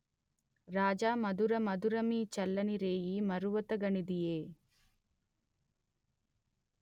రాజామధురమధురమీ చల్లని రేయీ మరువతగనిదీ ఎ